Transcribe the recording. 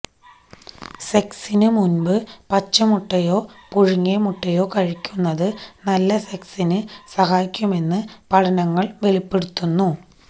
സെക്സിനു മുന്പ് പച്ചമുട്ടയോ പുഴുങ്ങിയ മുട്ടയോ കഴിയ്ക്കുന്നത് നല്ല സെക്സിനു സഹായിക്കുമെന്നു പഠനങ്ങള് വെളിപ്പെടുത്തുന്നു